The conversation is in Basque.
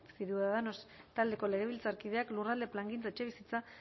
ciudadanos taldeko legebiltzarkideak lurralde plangintza etxebizitza